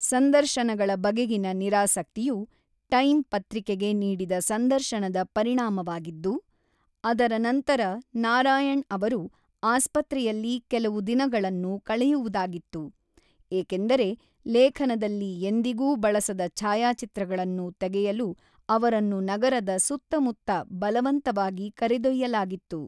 ಸಂದರ್ಶನಗಳ ಬಗೆಗಿನ ನಿರಾಸಕ್ತಿಯು ಟೈಮ್ ಪತ್ರಿಕೆಗೆ ನೀಡಿದ ಸಂದರ್ಶನದ ಪರಿಣಾಮವಾಗಿದ್ದು, ಅದರ ನಂತರ ನಾರಾಯಣ್ ಅವರು ಆಸ್ಪತ್ರೆಯಲ್ಲಿ ಕೆಲವು ದಿನಗಳನ್ನು ಕಳೆಯುವುದಾಗಿತ್ತು, ಏಕೆಂದರೆ, ಲೇಖನದಲ್ಲಿ ಎಂದಿಗೂ ಬಳಸದ ಛಾಯಾಚಿತ್ರಗಳನ್ನು ತೆಗೆಯಲು ಅವರನ್ನು ನಗರದ ಸುತ್ತಮುತ್ತ ಬಲವಂತವಾಗಿ ಕರೆದೊಯ್ಯಲಾಗಿತ್ತು.